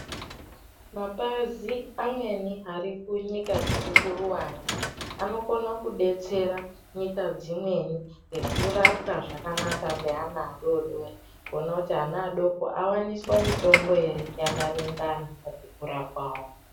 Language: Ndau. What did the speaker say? Mapazi amweni ari kunyika dziri kuruware anokona kudetsera nyika dzimweni ngekurapwa zvakanaka kweana adoodori kuona kuti ana adoko awaniswa mitombo here yakaringana pakurapwawo.